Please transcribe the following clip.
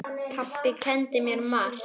Pabbi kenndi mér margt.